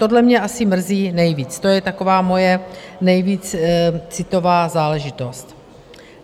Tohle mě asi mrzí nejvíc, to je taková moje nejvíc citová záležitost.